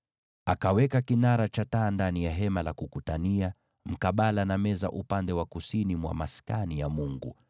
Akaweka kinara cha taa ndani ya Hema la Kukutania mkabala na meza upande wa kusini mwa Maskani ya Mungu